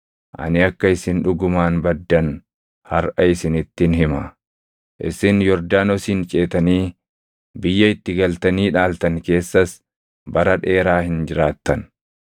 ani akka isin dhugumaan baddan harʼa isinittin hima. Isin Yordaanosin ceetanii biyya itti galtanii dhaaltan keessas bara dheeraa hin jiraattan.